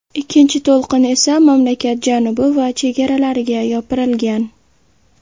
Ikkinchi to‘lqin esa mamlakat janubi va chegaralariga yopirilgan.